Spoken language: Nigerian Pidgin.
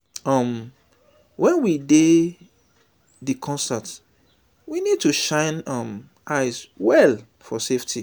um when we dey di concert we need to shine um eye well for safety